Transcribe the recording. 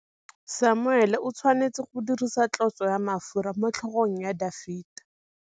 Samuele o tshwanetse go dirisa tlotsô ya mafura motlhôgong ya Dafita.